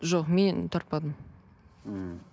жоқ мен тартпадым мхм